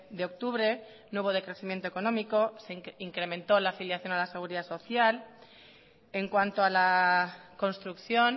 de octubre no hubo decrecimiento económico se incrementó la afiliación a la seguridad social en cuanto a la construcción